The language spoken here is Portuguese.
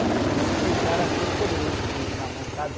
Porque eu me sentia o cara mais poderoso com o livro na mão, sabe?